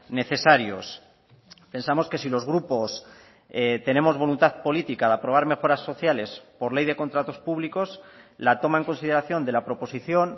necesarios pensamos que si los grupos tenemos voluntad política de aprobar mejoras sociales por ley de contratos públicos la toma en consideración de la proposición